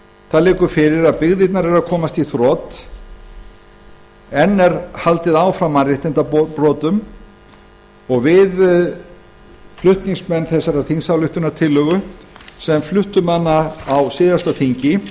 það liggur fyrir að byggðirnar eru að komast í þrot enn er mannréttindabrotum haldið áfram og við flutningsmenn þessarar þingsályktunartillögu sem fluttum hana á síðasta þingi